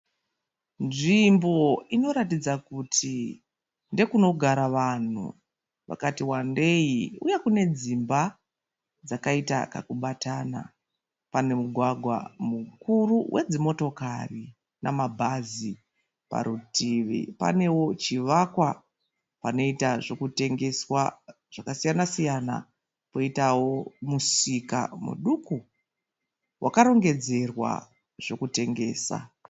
Nzvimbo inoratidza kuti ndekunogara vanhu vakati wandei. Uye kune dzimba dzakaita kakubatana. Pane mugwagwa mukuru we dzimotokari nemabhazi. Parutivi panewo chivakwa panoita zvekutengeswa zvakasiyana siyana. Poitawo musika muduku wakarongedzerwa zvekutengesa.